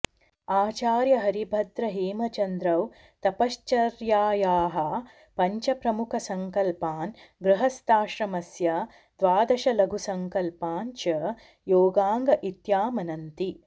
आचार्यहरिभद्रहेमचन्द्रौ तपश्चर्यायाः पञ्चप्रमुखसङ्कल्पान् गृहस्थाश्रमस्य् द्वादशलघुसङ्कल्पान् च योगाङ्ग इत्यामनन्ति